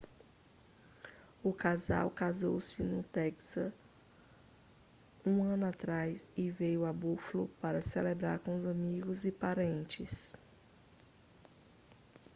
o casal casou-se no texas um ano atrás e veio a buffalo para celebrar com amigos e parentes